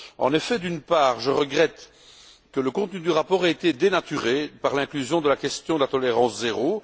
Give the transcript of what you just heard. En effet, d'une part, je regrette que le contenu du rapport ait été dénaturé par l'inclusion de la question de la tolérance zéro.